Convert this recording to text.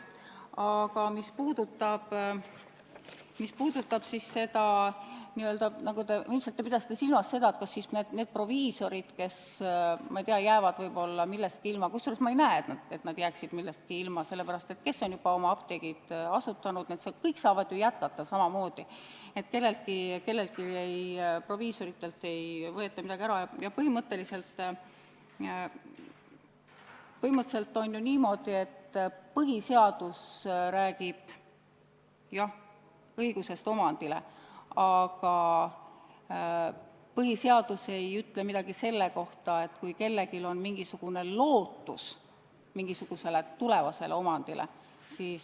Aga mis puudutab seda, kas proviisorid, ma ei tea, jäävad võib-olla millestki ilma – te ilmselt pidasite silmas seda, kuigi ma ei näe, et nad jääksid millestki ilma, sellepärast, et kes on juba oma apteegi asutanud, see saab ju jätkata samamoodi ja proviisoritelt ei võeta midagi ära –, siis põhimõtteliselt on ju niimoodi, et põhiseadus räägib küll õigusest omandile, aga põhiseadus ei ütle midagi selle kohta, kui kellelgi on lootus mingisugusele tulevasele omandile.